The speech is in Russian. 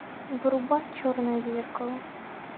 врубай черное зеркало